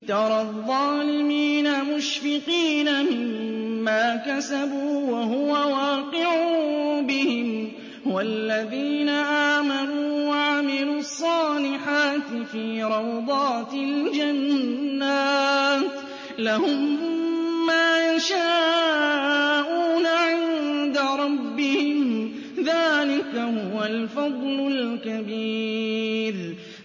تَرَى الظَّالِمِينَ مُشْفِقِينَ مِمَّا كَسَبُوا وَهُوَ وَاقِعٌ بِهِمْ ۗ وَالَّذِينَ آمَنُوا وَعَمِلُوا الصَّالِحَاتِ فِي رَوْضَاتِ الْجَنَّاتِ ۖ لَهُم مَّا يَشَاءُونَ عِندَ رَبِّهِمْ ۚ ذَٰلِكَ هُوَ الْفَضْلُ الْكَبِيرُ